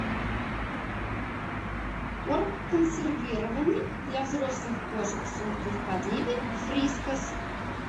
корм консервированный для взрослых кошек с уткой в подливе фрискас